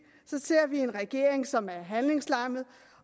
ser vi en regering som er handlingslammet